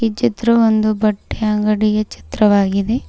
ಚಿತ್ರ ಒಂದು ಬಟ್ಟೆ ಅಂಗಡಿಯ ಚಿತ್ರವಾಗಿದೆ.